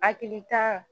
Hakilita